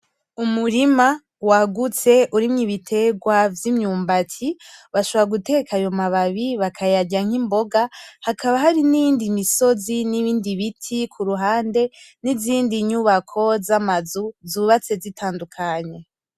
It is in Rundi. Umurima wagutse urimwo ibitegwa vy'imyumbati , bashobora guteka ayo mababi bakayarya nk'imboga, hakaba hari n'iyindi misozi n'ibindi biti kuruhande , n'izindi nyubako z'amazu zubatse zitandukanye .